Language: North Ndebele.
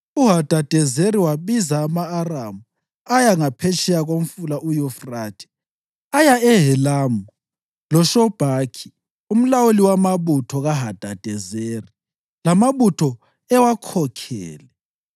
UHadadezeri wabiza ama-Aramu ayengaphetsheya koMfula uYufrathe; aya eHelamu loShobhakhi umlawuli wamabutho kaHadadezeri lamabutho ewakhokhele.